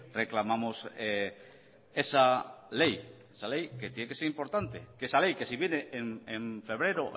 reclamamos esa ley esa ley que tiene que ser importante que esa ley que si viene en febrero o